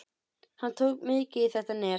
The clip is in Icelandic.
Hann tók mikið í þetta nef.